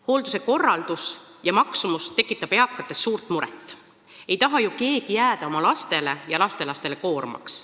Hoolduse korraldus ja maksumus tekitab eakates suurt muret: ei taha ju keegi jääda oma lastele ja lastelastele koormaks.